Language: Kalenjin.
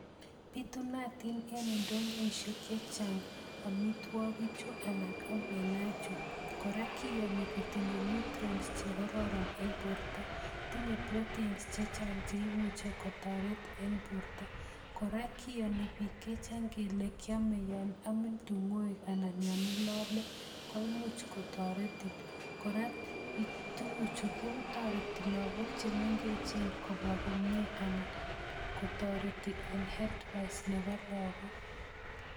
Bitunotin en indoisiek chechang amitwogiikchu anan omena chu, kora kiyooni kotindo nutrients Che kororon eng borto. Tinye proteins chechang cheimuche kotoret eng bortoo. kora kiyoni bik chechang kole kiome yon omin tingoek anan ko yon ilolee, koimuch kotoretin. Kora tuguchu kotoreti logook chemengechen kobwa komie anan, kotoreti eng healthwise nebo logook